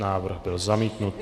Návrh byl zamítnut.